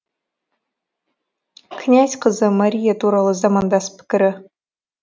князь қызы мария туралы замандас пікірі